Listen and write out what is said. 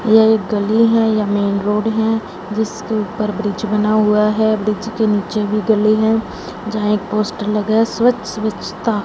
ये एक गली है या मेन रोड है जिसके ऊपर ब्रिज बना हुआ है ब्रिज के नीचे भी गली है जहां एक पोस्टर लगा स्वच्छ स्वच्छता--